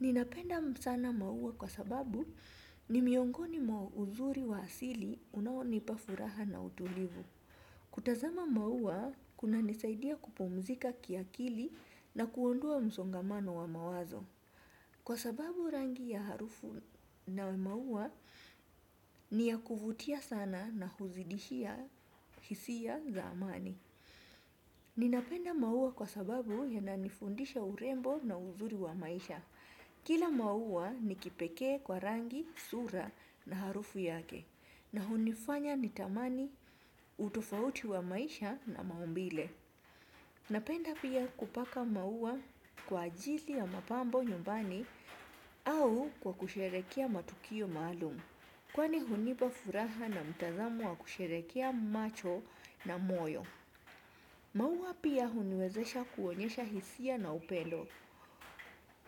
Ninapenda sana maua kwa sababu ni miongoni mwa uzuri wa asili unaonipa furaha na utulivu. Kutazama maua kunanisaidia kupumzika kiakili na kuondoa msongamano wa mawazo. Kwa sababu rangi ya harufu na maua ni ya kuvutia sana na huzidishia hisia za amani. Ninapenda maua kwa sababu yananifundisha urembo na uzuri wa maisha. Kila maua ni kipekee kwa rangi, sura na harufu yake na hunifanya nitamani utofauti wa maisha na maumbile. Napenda pia kupaka maua kwa ajili ya mapambo nyumbani au kwa kusherehekea matukio maalumu. Kwani hunipa furaha na mtazamo wa kusherehekea macho na moyo. Maua pia huniwezesha kuonyesha hisia na upendo.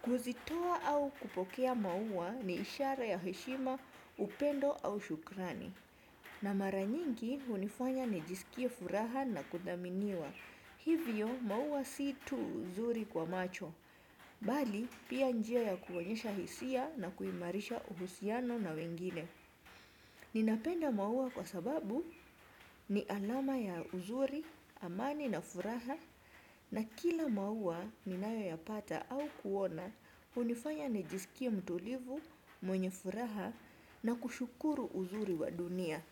Kuzitoa au kupokea maua ni ishara ya heshima upendo au shukrani. Na mara nyingi hunifanya nijiskie furaha na kudhaminiwa. Hivyo maua si tu uzuri kwa macho. Bali pia njia ya kuonyesha hisia na kuimarisha uhusiano na wengine. Ninapenda maua kwa sababu ni alama ya uzuri, amani na furaha na kila maua ninayoyapata au kuona hunifanya nijiskie mtulivu, mwenye furaha na kushukuru uzuri wa dunia.